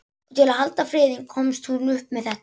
Og til að halda friðinn komst hún upp með þetta.